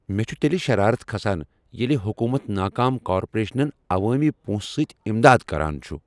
مےٚ چھ تیٚلہ شرارتھ کھسان ییٚلہ حکوٗمت ناکام کارپوریشنن عوٲمی پونٛسہٕ سۭتۍ اِمداد كران چُھ ۔